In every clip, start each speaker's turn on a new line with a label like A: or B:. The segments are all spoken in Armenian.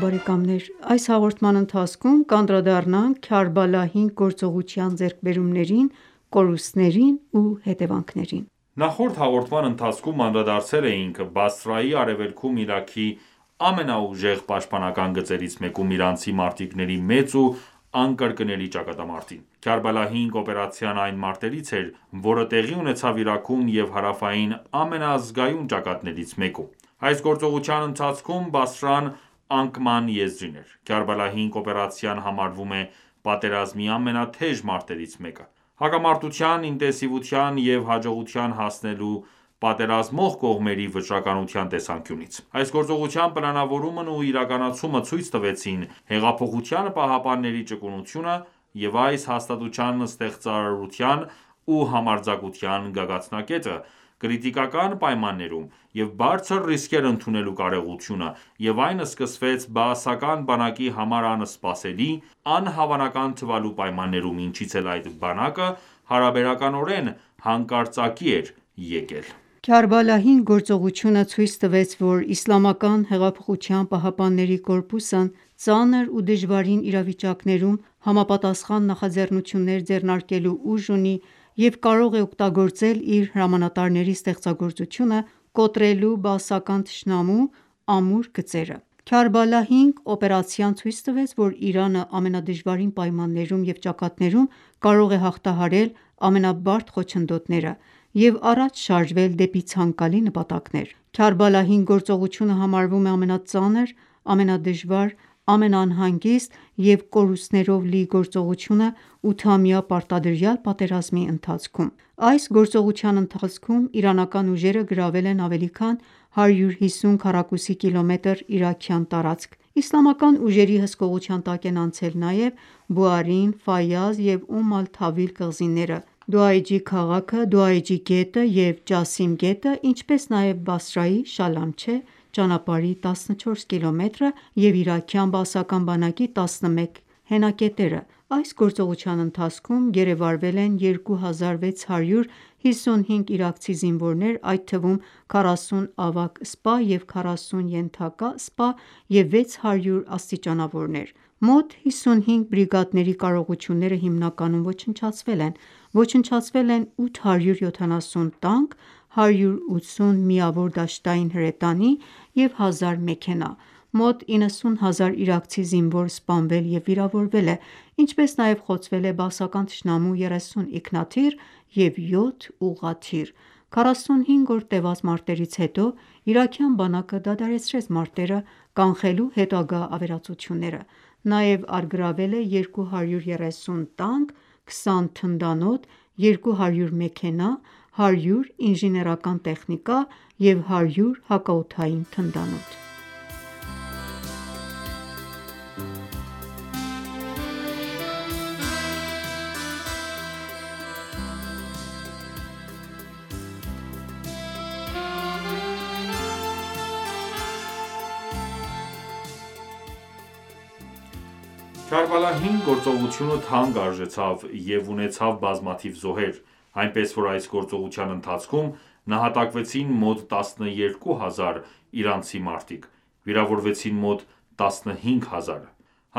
A: բարեկամներ: Այս հաղորդման ընթացքում կանդրադառնանք Քարբալա 5 գործողության ձեռքբերումներին, կորուստներին ու հետեւանքներին։
B: Նախորդ հաղորդման ընթացքում անդրադարձել էինք Բասրայի արևելքում Իրաքի ամենաուժեղ պաշտպանական գծերից մեկում իրանցի մարտիկների մեծ ու անկրկնելի ճակատամարտին։ Քարբալա 5 օպերացիան այն մարտերից էր, որը տեղի ունեցավ Իրաքում և հարավային ամենազգայուն ճակատներից մեկում։ Այս գործողության ընթացքում Բասրան անկման եզրին էր։ Քարբալա 5 օպերացիան համարվում է պատերազմի ամենաթեժ մարտերից մեկը՝ հակամարտության ինտենսիվության և հաջողության հասնելու պատերազմող կողմերի վճռականության տեսանկյունից։ Այս գործողության պլանավորումն ու իրականացումը ցույց տվեցին Հեղափոխության պահապանների ճկունությունը և այս հաստատության ստեղծարարության ու համարձակության գագաթնակետը՝ կրիտիկական պայմաններում և բարձր ռիսկեր ընդունելու կարողությունը, և այն սկսվեց բաասական բանակի համար անսպասելի, անհավանական թվալու պայմաններում, ինչից էլ այդ բանակը հարաբերականորեն հանկարծակիի էր եկել:
A: Քարբալա 5 գործողությունը ցույց տվեց, որ ԻՀՊԿ-ն ծանր ու դժվարին իրավիճակներում համապատասխան նախաձեռնություններ ձեռնարկելու ուժ ունի և կարող է օգտագործել իր հրամանատարների ստեղծագործությունը՝ կոտրելու բաասական թշնամու ամուր գծերը: Քարբալա 5 օպերացիան ցույց տվեց, որ Իրանը ամենադժվար պայմաններում և ճակատներում կարող է հաղթահարել ամենաբարդ խոչընդոտները և առաջ շարժվել դեպի ցանկալի նպատակները։ Քարբալա 5 գործողությունը համարվում է ամենածանր, ամենադժվար, ամենաանհանգիստ և կորուստներով լի գործողությունը ութամյա պարտադրյալ պատերազմի ընթացքում: Այս գործողության ընթացքում իրանական ուժերը գրավել են ավելի քան 150 քառակուսի կիլոմետր իրաքյան տարածք։ Իսլամական ուժերի հսկողության տակ են անցել նաև Բուարին, Ֆայազ և Ում ալ-Թավիլ կղզիները, Դոայջի քաղաքը, Դոայջի գետը և Ջասիմ գետը, ինչպես նաև Բասրայի Շալամչեհ ճանապարհի 14 կիլոմետրը, և իրաքյան բաասական բանակի 11 հենակետերը: Այս գործողության ընթացքում գերեվարվել են 2655 իրաքցի զինվորներ, այդ թվում՝ 40 ավագ սպա և 40 ենթակա սպա և 600 աստիճանավորներ։ Մոտ 55 բրիգադների կարողությունները հիմնականում ոչնչացվել են, ոչնչացվել են 870 տանկ, 180 միավոր դաշտային հրետանի և 1000 մեքենա։ Մոտ 90 հազար իրաքցի զինվոր սպանվել և վիրավորվել է, ինչպես նաև խոցվել է բաասական թշնամու 30 ինքնաթիռ և 7 ուղղաթիռ։ 45 օր տեւած մարտերից հետո իրաքյան բանակը դադարեցրեց մարտերը՝ կանխելու հետագա ավերածությունները։ Նաև առգրավվել է 230 տանկ, 20 թնդանոթ, 200 մեքենա, 100 ինժեներական տեխնիկա և 100 հակաօդային թնդանոթ։
B: Քարբալա 5 գործողությունը թանկ արժեցավ և ունեցավ բազմաթիվ զոհեր, այնպես որ այս գործողության ընթացքում նահատակվեցին մոտ 12000 իրանցի մարտիկ, վիրավորվեցին մոտ 15000-ը։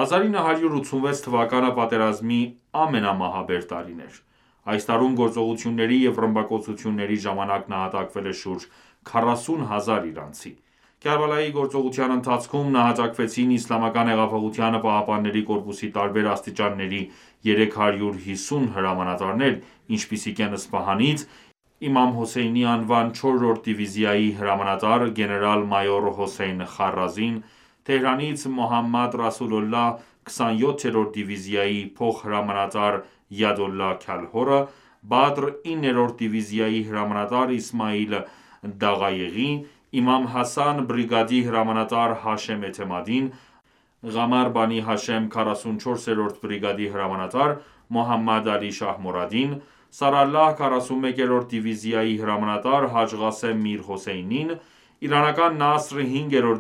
B: 1986 թվականը պատերազմի ամենամահաբեր տարին էր։ Այս տարում գործողությունների և ռմբակոծությունների ժամանակ նահատակվել է շուրջ 40 հազար իրանցի։ Քարբալայի գործողության ընթացքում նահատակվեցին ԻՀՊԿ-ի տարբեր աստիճանների 350 հրամանատարներ, ինչպիսիք են՝ Սպահանից «Իմամ Հոսեյն»-ի անվան 4-րդ դիվիզիայի հրամանատար գեներալ-մայոր Հոսեյն Խարազին, Թեհրանից«Մոհամմադ Ռասուլուլլահ» 27-րդ դիվիզիայի փոխհրամանատար Յադոլլահ Քալհորը, Բադր 9-րդ դիվիզիայի հրամանատար Իսմայիլ Դաղայեղի, Իմամ Հասան բրիգադի հրամանատար Հաշեմ Էթեմադին, Ղամար Բանի Հաշեմ 44-րդ բրիգադի հրամանատար Մոհամմադ Ալի Շահմորադին, Սարալլահ 41-րդ դիվիզիայի հրամանատար Հաջ Ղասեմ Միր Հոսեյնին, իրանական Նասր 5-րդ